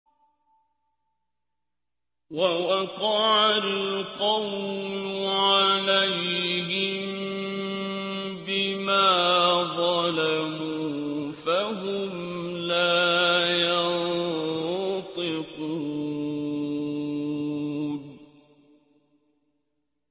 وَوَقَعَ الْقَوْلُ عَلَيْهِم بِمَا ظَلَمُوا فَهُمْ لَا يَنطِقُونَ